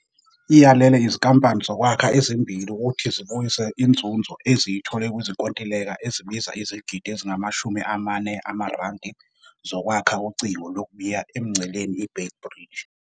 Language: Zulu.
Iyalele izinkampani zokwakha ezimbili ukuthi zibuyise inzuzo eziyithole kwizinkontileka ezibiza izigidi ezingama-R40 zokwakha ucingo lokubiya emngceleni i-Beit Bridge.